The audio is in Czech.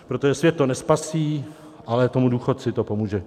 Protože svět to nespasí, ale tomu důchodci to pomůže.